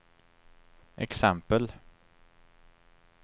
exempel